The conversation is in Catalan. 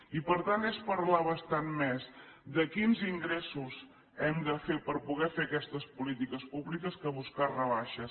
i per tant és parlar bastant més de quins ingressos hem de fer per poder fer aquestes polítiques públiques que buscar rebaixes